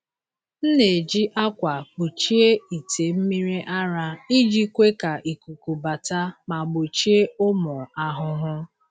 M na-eji akwa kpuchie ite mmiri ara iji kwe ka ikuku bata ma gbochie ụmụ ahụhụ.